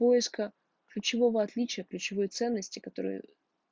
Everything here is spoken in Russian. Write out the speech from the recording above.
поиска ключевого отличия ключевой ценности которая